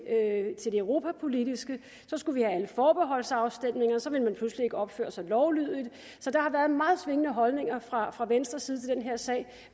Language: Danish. europapolitiske så skulle vi have alle forbeholdsafstemninger så ville man pludselig ikke opføre sig lovlydigt der har været meget svingende holdninger fra fra venstres side til den her sag